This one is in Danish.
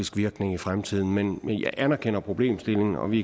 virkning i fremtiden men jeg anerkender problemstillingen og vi